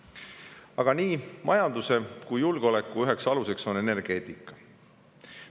Aga nii majanduse kui ka julgeoleku üks alus on energeetika.